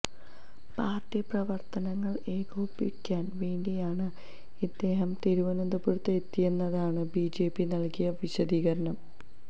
party പ്രവര്ത്തനങ്ങള് ഏകോപിപ്പിക്കാന് വേണ്ടിയാണ് ഇദ്ദേഹം തിരുവനന്തപുരത്ത് എത്തിയതെന്നാണ് ബിജെപി നല്കിയ വിശദീകരണം